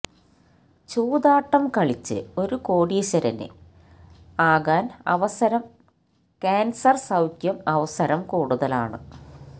ചൂതാട്ടം കളിച്ച് ഒരു കോടീശരന് ആകാൻ അവസരം കാൻസർ സൌഖ്യം അവസരം കൂടുതലാണ്